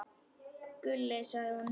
Gulli, sagði hún.